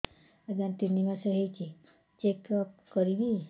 ଆଜ୍ଞା ତିନି ମାସ ହେଇଛି ଚେକ ଅପ କରିବି